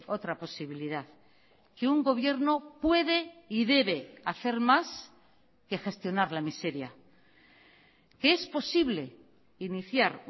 otra posibilidad que un gobierno puede y debe hacer más que gestionar la miseria que es posible iniciar